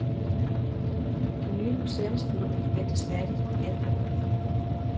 Det nye museumsbyggeri ventes færdigt i efteråret.